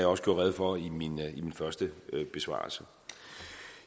også gjorde rede for i min første besvarelse